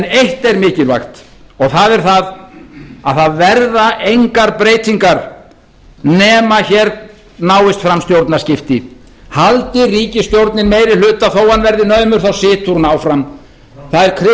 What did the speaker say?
eitt er mikilvægt og það er það að það verða engar breytingar nema hér náist fram stjórnarskipti haldi ríkisstjórnin meiri hluta þó að hann verði naumur situr hún áfram það